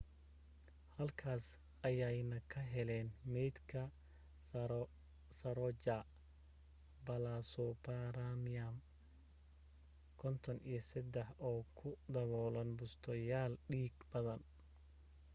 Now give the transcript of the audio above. halkaas ayayna ka heleen maydka saroja balasubramanian 53 oo ku daboolan bustayaal dhiig-qaba